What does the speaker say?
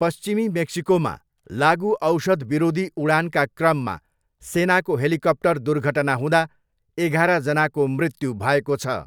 पश्चिमी मेक्सिकोमा लागुऔषध विरोधी उडानका क्रममा सेनाको हेलिकप्टर दुर्घटना हुँदा एघार जनाको मृत्यु भएको छ।